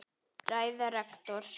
Ræða rektors